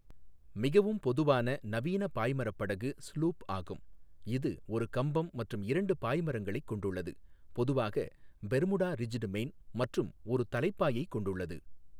மிகவும் பொதுவான நவீன பாய்மரப் படகு ஸ்லூப் ஆகும், இது ஒரு கம்பம் மற்றும் இரண்டு பாய்மரங்களைக் கொண்டுள்ளது, பொதுவாக பெர்முடா ரிஜ்டு மெயின் மற்றும் ஒரு தலைப்பாயை கொண்டுள்ளது.